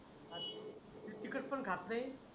तिखट पण खत नाही.